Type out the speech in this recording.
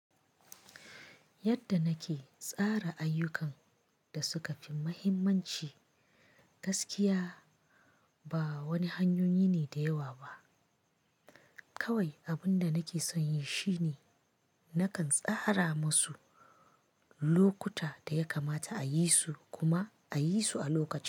Yadda nake tsara ayyukan da suka fi mahimmanci, gaskiya ba wani hanyoyi ne da yawa ba. Kawai abin da nake son yi shine nakan tsara masu lokuta da ya kamata a yi su kuma a yi su a lokaci.